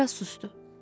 Bir az susdu.